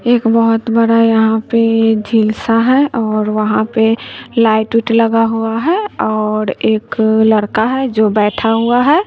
एक बहुत बड़ा यहां पर झील सा है और वहां पे लाइट उईट लगा हुआ है और एक लड़का है जो बैठा हुआ है।